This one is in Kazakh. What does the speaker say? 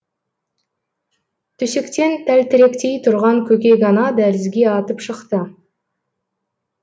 төсектен тәлтіректей тұрған көкек ана дәлізге атып шықты